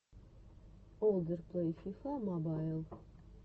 олдер плэй фифа мобайл